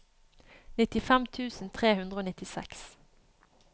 nittifem tusen tre hundre og nittiseks